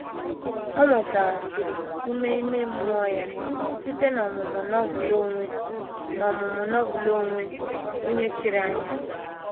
O nwetaghachiri ume ime mmụọ ya site n’ọmụmụ Novel onwe n’ọmụmụ Novel onwe onye chiri anya.